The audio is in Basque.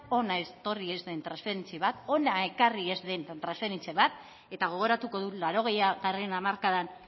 hona etorri ez den transferentzia bat hona ekarri ez den transferentzia bat eta gogoratuko dut laurogeitarren hamarkadan